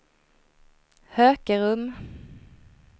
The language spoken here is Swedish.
Hökerum